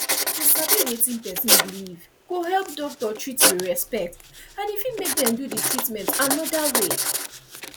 to sabi wetin person believe go help doctor treat with respect and e fit make dem do the treatment another way